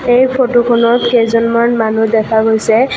এই ফটোখনত কেইজনমান মানুহ দেখা গৈছে।